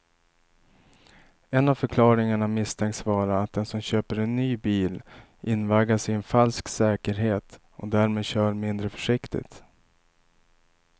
En av förklaringarna misstänks vara att den som köper en ny bil invaggas i en falsk säkerhet och därmed kör mindre försiktigt.